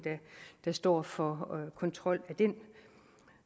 der står for kontrol af den